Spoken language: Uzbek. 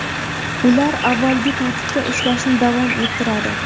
Ular avvalgi tartibda ishlashni davom ettiradi.